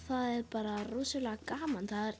það er bara rosalega gaman það er